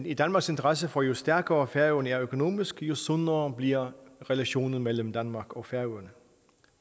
i danmarks interesse for jo stærkere færøerne er økonomisk jo sundere bliver relationen mellem danmark og færøerne